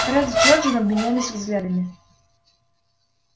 фред с джорджем обменялись взглядами